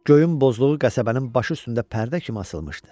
Göyün bozluğu qəsəbənin başı üstündə pərdə kimi asılmışdı.